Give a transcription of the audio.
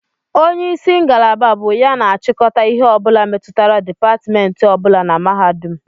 Onye isi ngalaba bụ ya na-achịkọta ihe ọ bụla metụtara dipatmentị ọ bụla na mahadum